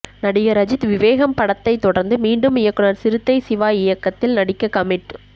நடிகர் அஜித் விவேகம் படத்தைத் தொடர்ந்து மீண்டும் இயக்குனர் சிறுத்தை சிவா இயக்கத்தில் நடிக்க கமிட்